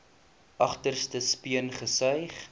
agterste speen gesuig